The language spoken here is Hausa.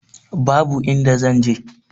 Babu inda zan je.